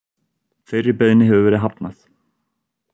Þeirri beiðni hefur verið hafnað.